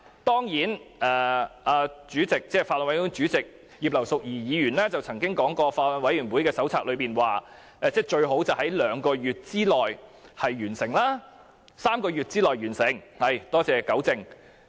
當然，法案委員會主席葉劉淑儀議員曾經表示，根據法案委員會手冊，法案最好在兩個月內完成審議......是3個月內完成審議——多謝糾正。